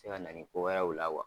bɛ se ka na ni ko wɛrɛ ye la